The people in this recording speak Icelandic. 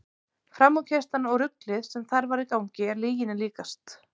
Framúrkeyrslan og ruglið sem þar var í gangi er lyginni líkast.